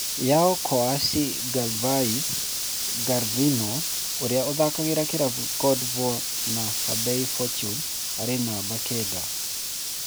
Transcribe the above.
Yao Kouasi Gervais 'Gervinho' ũria ũthakagira kĩravũkĩa Cote d'Ivoire na Hebei Fortune arĩ namba kenda.